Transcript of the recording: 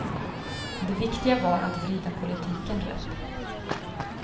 Det viktiga var att vrida politiken rätt.